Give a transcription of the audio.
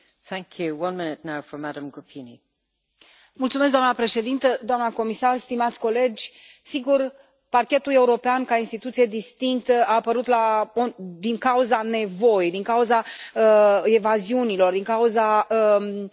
Doamnă președintă, doamnă comisar, stimați colegi, sigur Parchetul European, ca instituție distinctă, a apărut din cauza nevoii, din cauza evaziunilor, din cauza evaziunilor transfrontaliere.